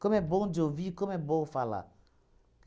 Como é bom de ouvir, como é bom falar.